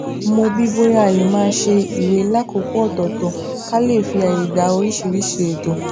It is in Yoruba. mo bi í bóyá a lè máa ṣe ìwè lákòókò òtòòtò ká lè fi àyè gba oríṣiríṣi ètò